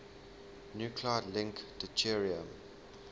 nuclide link deuterium